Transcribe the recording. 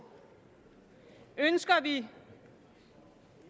ønsker vi